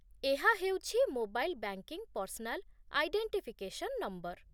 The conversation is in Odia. ଏହା ହେଉଛି mobile banking personal identification number